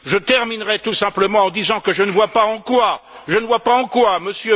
Je terminerai tout simplement en disant que je ne vois pas en quoi M.